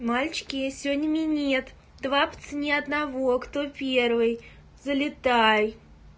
мальчики я сегодня минет два по цене одного кто первый залетай